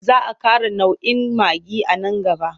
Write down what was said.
Za a ƙara nau'in maggi a nan gaba.